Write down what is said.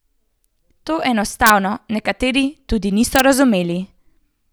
To enostavno nekateri tudi niso razumeli.